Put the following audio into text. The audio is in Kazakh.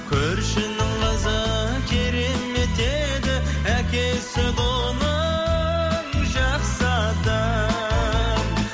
көршінің қызы керемет еді әкесі де оның жақсы адам